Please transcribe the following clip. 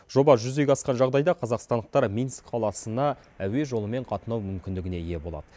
жоба жүзеге асқан жағдайда қазақстандықтар минск қаласына әуе жолымен қатынау мүмкіндігіне ие болады